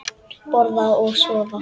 Borða og sofa.